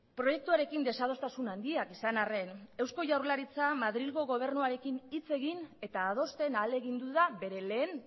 proiektuarekin desadostasun handiak izan arren eusko jaurlaritza madrilgo gobernuarekin hitz egin eta adosten ahalegindu da bere lehen